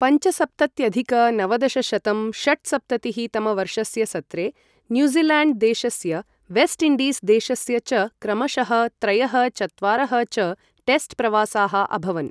पञ्चसप्तत्यधिक नवदशशतं षट्सप्ततिः तमवर्षस्य सत्रे, न्यूज़िलेण्ड् देशस्य वेस्ट् इण्डीस् देशस्य च क्रमशः त्रयः चत्वारः च टेस्ट् प्रवासाः अभवन्।